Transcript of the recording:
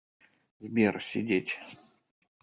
сбер сидеть